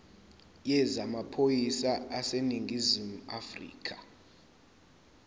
yezamaphoyisa aseningizimu afrika